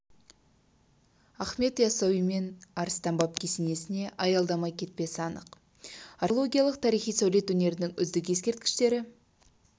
ахмет яссауи мен арыстан баб кесенесіне аялдамай кетпесі анық археологиялық тарихи сәулет өнерінің үздік ескерткіштері